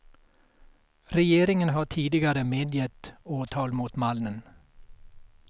Regeringen har tidigare medgett åtal mot mannen.